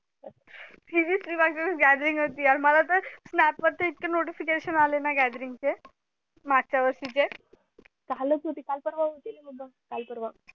gathering होती यर मला तर snap वरचे इतके notification आले ना gathering चे मागच्या वर्षी चे कालच होती का पर्वा होती काल पर्वा